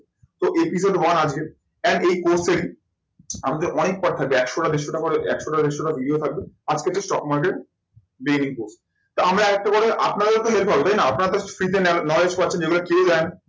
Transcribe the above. তো episode one আজকে and এই course এ আপনাদের অনেক part থাকবে একশোটা দেড়শোটা করে একশোটা দেড়শোটা video থাকবে। আজকে তো stock market দিইনিকো। তো আমরা একটা করে আপনাদেরও তো late হবে তাই না আপনারাতো free তে knowledge পাচ্ছেন যে গুলো পেয়ে যান